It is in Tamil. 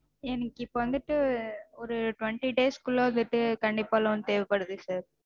எனக்கு இப்போ வந்துட்டு twenty days க்குள்ள வந்துட்டு கண்டிப்பா loan தேவைப்படுது sir.